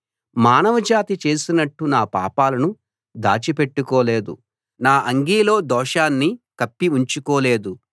మానవ జాతి చేసినట్టు నా పాపాలను దాచి పెట్టుకోలేదు నా అంగీలో దోషాన్ని కప్పి ఉంచుకోలేదు